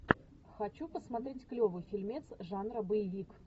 хочу посмотреть клевый фильмец жанра боевик